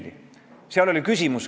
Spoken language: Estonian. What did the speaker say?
Henn Põlluaas, palun!